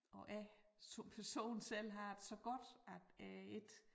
Og jeg som person selv har det så godt at jeg ikke